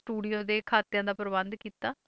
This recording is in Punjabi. Studio ਦੇ ਖਾਤਿਆਂ ਦਾ ਪ੍ਰਬੰਧ ਕੀਤਾ,